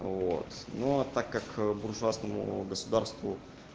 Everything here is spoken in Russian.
вот ну а так как буржуазному государству